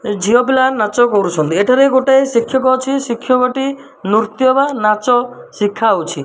ଝିଅ ପିଲାମାନେ ନାଚ କରୁଛନ୍ତି ଏଠାରେ ଗୋଟେ ଶିକ୍ଷକ ଅଛି ଶିକ୍ଷକ ଟି ନୃତ୍ୟ ବା ନାଚ ଶିଖାଉଛି।